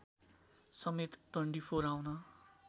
समेत डन्डिफोर आउन